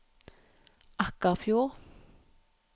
Akkarfjord